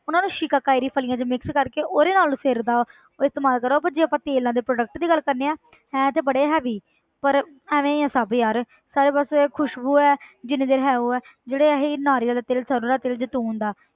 ਉਹਨਾਂ ਨੂੰ ਸ਼ਿਕਾਕਾਈ ਦੀ ਫ਼ਲੀਆਂ 'ਚ mix ਕਰਕੇ ਉਹਦੇ ਨਾਲ ਸਿਰ ਦਾ ਉਹ ਇਸਤੇਮਾਲ ਕਰੋ ਜੇ ਆਪਾਂ ਤੇਲਾਂ ਦੇ product ਦੀ ਗੱਲ ਕਰਦੇ ਹਾਂ ਹੈ ਤੇ ਬੜੇ heavy ਪਰ ਐਵੇਂ ਹੀ ਆਂ ਸਭ ਯਾਰ ਸਾਰੇ ਬਸ ਖ਼ੁਸਬੂ ਹੈ ਜਿੰਨੀ ਦੇਰ ਹੈ ਉਹ ਹੈ ਜਿਹੜੇ ਅਸੀਂ ਨਾਰੀਅਲ ਦਾ ਤੇਲ, ਸਰੋਂ ਦਾ ਤੇਲ, ਜੈਤੂਨ ਦਾ